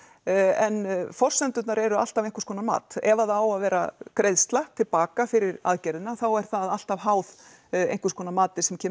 en forsendurnar eru alltaf einhverskonar mat ef að það á að vera greiðsla til baka fyrir aðgerðina að þá er það alltaf háð einhverskonar mati sem kemur